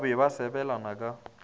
ba be ba sebelana ka